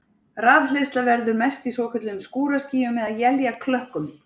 Rafhleðsla verður mest í svokölluðum skúraskýjum eða éljaklökkum.